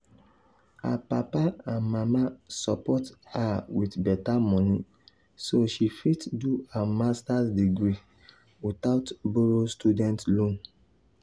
her papa and mama support her with better money so she fit do her master’s degree without borrow student loan.